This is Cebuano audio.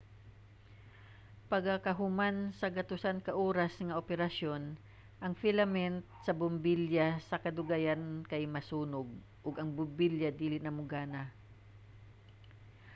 pagakahuman sa gatusan ka oras nga operasyon ang filament sa bombilya sa kadugayan kay masunog ug ang bombilya dili na mogana